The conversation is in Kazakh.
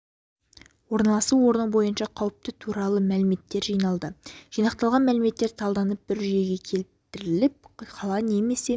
орналасу орны бойынша қауіпті туралы мәліметер жиналды жинақталған мәліметтер талданып бір жүйеге келтіріліп қала немесе